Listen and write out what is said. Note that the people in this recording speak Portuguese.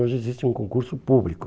Hoje existe um concurso público.